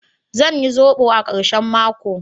Zan yi zobo a karshen mako.